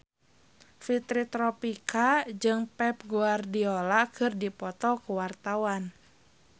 Fitri Tropika jeung Pep Guardiola keur dipoto ku wartawan